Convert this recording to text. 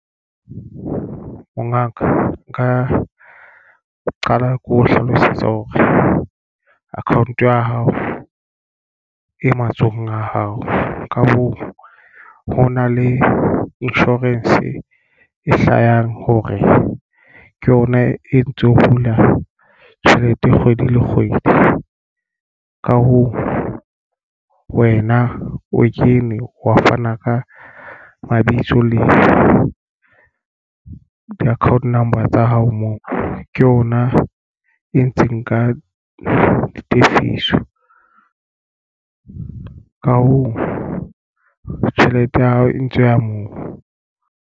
Mongaka nka qala keo hlalosetsa hore account ya hao e matsohong a hao. Ka hoo ho na le insurance e hlahang hore ke yona e ntso hula tjhelete kgwedi le kgwedi. Ka hoo wena o kene wa fana ka mabitso le di-account number tsa hao moo ke yona e ntseng ka ditefiso. Ka hoo tjhelete ya hao e ntse e ya moo.